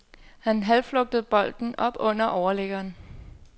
Han halvflugtede bolden op under overliggeren.